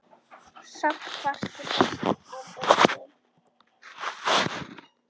Samt varstu best af öllum.